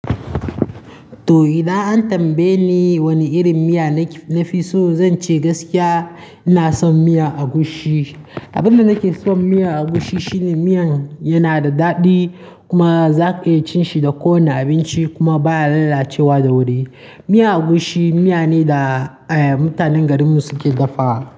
To, idan an tambaye ni wani irin miya na fi so, zan ce gaskiya. Ina son miya egusi. Abin da nake son miyan agushi shine miyan yana da daɗi kuma za ka iya cin shi da kowane abinci kuma ba ya lallacewa da wuri. Miyan agushi miya ne da, eh, mutanen garinmu suke dafawa.